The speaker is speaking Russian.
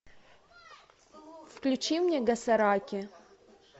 включи мне гасараки